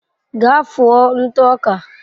Gaa fụọ ntụ ọka.